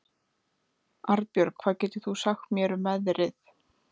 Arnbjörg, hvað geturðu sagt mér um veðrið?